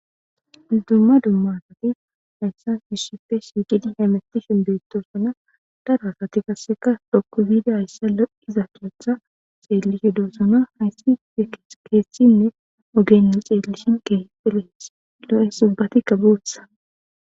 Duma duma asati issippe shiqqidi hemetishe betossona daro asati qase dhoqqu giddi hayissa lo'iza keththa xellishe dossona hayissi keththinne oggeyinne xellishin kehippe lo'esi ubbatika boththa.